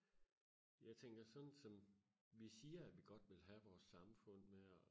jeg tænker sådan som vi siger at vi godt vil have vores samfund med og